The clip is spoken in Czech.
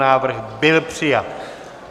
Návrh byl přijat.